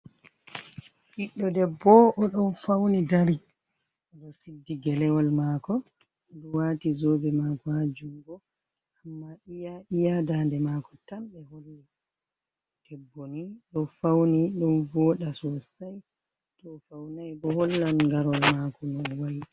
Biɗɗo ɗebbo o ɗon fauni ɗari. Oɗo siɗɗi gelewal mako. Oɗo wati zobe mako ha jungo. Amma iya ɗanɗe mako tan be holli. Ɗebbo ni ɗon fauni, ɗon voɗa sosai. To o faunai bo hollan ngarol mako no wayi.